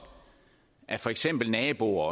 af for eksempel naboer